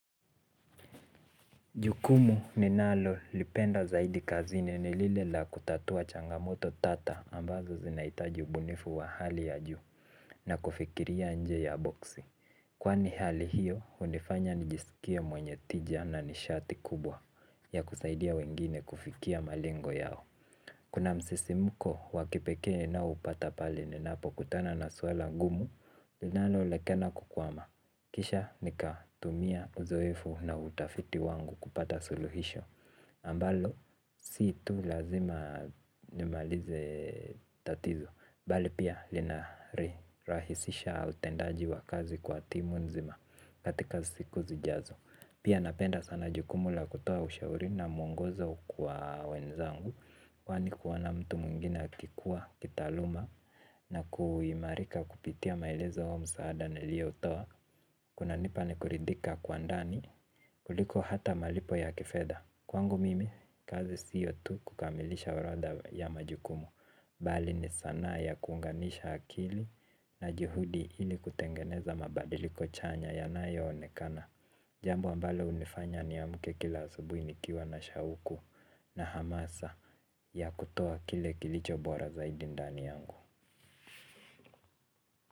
Jukumu ninalo lipenda zaidi kazini ni lile la kutatua changamoto tata ambazo zinahitaji ubunifu wa hali ya juu na kufikiria nje ya boksi. Kwani hali hiyo, unifanya nijisikia mwenye tija na nishati kubwa ya kusaidia wengine kufikia malengo yao. Kuna msisimuko wa kipekee naopata pale ninapokutana na swala ngumu. Linalo lekena kukwama. Kisha nika tumia uzoefu na utafiti wangu kupata suluhisho ambalo si tu lazima nimalize tatizo bali pia linari rahisisha utendaji wa kazi kwa timu nzima katika siku zijazo. Pia napenda sana jukumu la kutoa ushauri na mwongozo kwa wenzangu. Kwani kuona mtu mwingine akikuwa, kitaaluma na kuimarika kupitia maelezo ya msaada niliotoa. Kuna nipa ni kuridhika kwa ndani kuliko hata malipo ya kifedha. Kwangu mimi kazi sio tu kukamilisha orodha ya majukumu bali ni sanaa ya kuunganisha akili na juhudi ili kutengeneza mabadiliko chanya yanayoonekana. Jambo ambalo hunifanya niamke kila asubuhi nikiwa na shauku na hamasa ya kutoa kile kilicho bora zaidi ndani yangu.